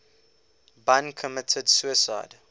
bun committed suicide